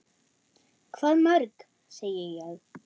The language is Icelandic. Hvað mörg, segi ég.